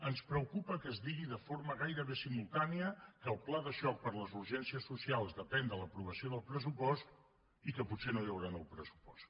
ens preocupa que es digui de forma gairebé simultània que el pla de xoc per a les urgències socials depèn de l’aprovació del pressupost i que potser no hi haurà nou pressupost